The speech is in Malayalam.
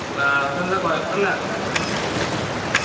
class ന്താ കൊയപ്പല്ല